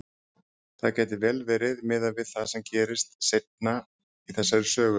Það gæti vel verið, miðað við það sem gerist seinna í þessari sögu.